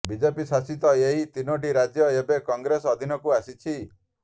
BJP ଶାସିତ ଏହି ତିନୋଟି ରାଜ୍ୟ ଏବେ କଂଗ୍ରେସ ଅଧୀନକୁ ଆସିଛି